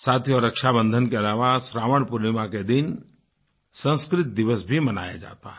साथियो रक्षाबन्धन के अलावा श्रावण पूर्णिमा के दिन संस्कृत दिवस भी मनाया जाता है